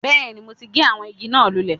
Bẹ́ẹ̀ni mo ti gé àwọn igi náà lulè